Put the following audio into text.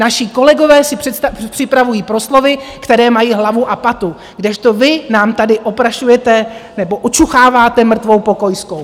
Naši kolegové si připravují proslovy, které mají hlavu a patu, kdežto vy nám tady oprašujete nebo očucháváte mrtvou pokojskou.